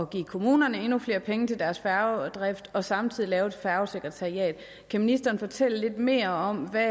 give kommunerne endnu flere penge til deres færgedrift og samtidig lave et færgesekretariat kan ministeren fortælle lidt mere om hvad